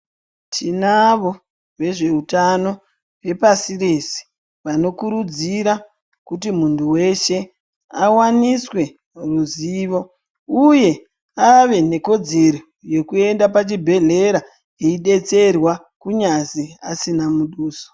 Tinavo vezveutano vepasi rese vanokurudzira kuti muntu weshe awaniswe ruzivo uye ave nekodzero yekuenda pachibhehleya eyidetserwa kunyazwi asina muduso